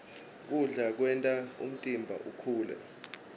kudla kwenta umtimba ukhule